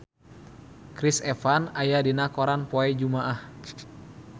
Chris Evans aya dina koran poe Jumaah